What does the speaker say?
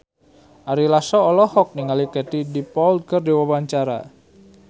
Ari Lasso olohok ningali Katie Dippold keur diwawancara